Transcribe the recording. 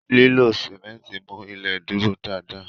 Lilọ simẹnti mú ilé dúró dá dá